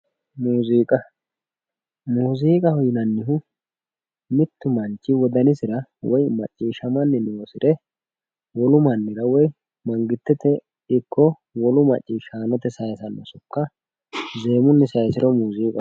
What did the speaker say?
Muuziiqa muuziiqaho yinannihu mittu manchi wodanisira woyi macciishshamanni noosire wolu mannira woyi mangistete ikko wolu macciishshaanote sayiisanno sokka zeemunni saayisiro muuziiqaho yinanni